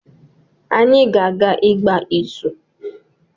Anyị ga-aga ịgba ịzụ